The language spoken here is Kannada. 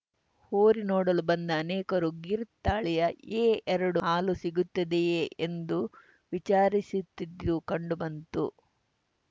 ಹೋರಿ ನೋಡಲು ಬಂದ ಅನೇಕರು ಗಿರ್‌ ತಾಳಿಯ ಎಎರಡು ಹಾಲು ಸಿಗುತ್ತದೆಯೇ ಎಂದು ವಿಚಾರಿಸುತ್ತಿದ್ದದ್ದು ಕಂಡು ಬಂತು